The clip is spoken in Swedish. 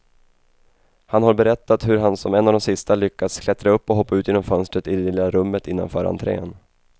Han har berättat hur han som en av de sista lyckas klättra upp och hoppa ut genom fönstret i det lilla rummet innanför entrén.